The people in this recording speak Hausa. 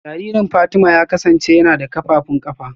Jaririn Fatima ya kasance yana da kafafun kafa